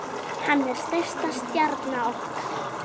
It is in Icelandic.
Hann er stærsta stjarna okkar.